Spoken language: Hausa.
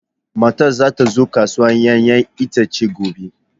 Matar za ta zo kasuwar 'ya'yan itace gobe.